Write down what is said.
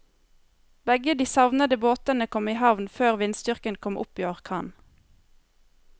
Begge de savnede båtene kom i havn før vindstyrken kom opp i orkan.